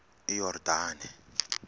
iyordane